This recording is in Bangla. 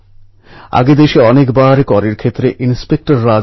আপনি দেশের নাম উজ্জ্বল করেছেন